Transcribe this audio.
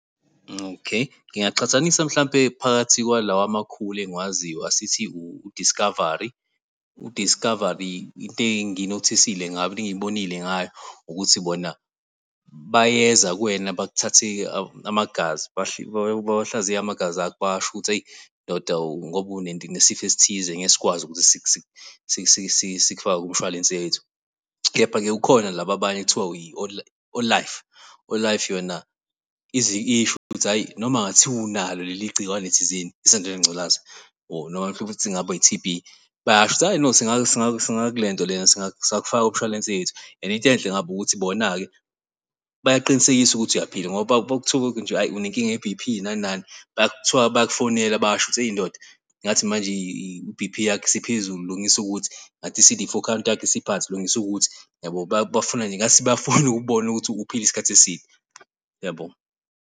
Okay. Ngingaqhathanisa mhlampe phakathi kwalawa amakhulu engikwaziyo asithi u-Discovery, u-Discovery into engiyinothisile ngayo into engiyibonile ngayo ukuthi bona bayeza kuwena bakuthathe amagazi bawahlaziye amagazi akho basho ukuthi hheyi ndoda ngoba unesifo esithize ngeke sikwazi ukuthi sikufake kumshwalense wethu. Kepha-ke kukhona laba abanye ekuthiwa i-All Life, i-All Life yona ize isho ukuthi hhayi noma kungathiwa unalo leli gciwane thizeni isandulela ngculaza or noma futhi ingabe i-T_B bayasho ukuthi hhayi no singaku lento le singakufaka kumshwalense yethu and into enhle ngabo ukuthi bona-ke bayaqinisekisa ukuthi uyaphila ngoba ukube kuthiwa nje hayi unenkinga ye-B_P nani nani kuthiwa bayakufonela basho ukuthi hheyi ndoda, ngathi manje i-B_P yakho isiphezulu lungisa ukuthi ngathi i-C_D four count yakho isiphansi lungisa ukuthi, yabo? bafuna nje ngathi bafuna ukukubona ukuthi uphile isikhathi eside, uyabo?